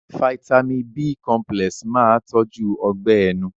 Fáítámì b cọmpílẹ̀s máa tọ́jú Ọgbẹ́ ẹnu